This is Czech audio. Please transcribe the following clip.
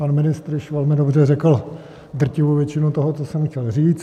Pan ministr již velmi dobře řekl drtivou většinu toho, co jsem chtěl říct.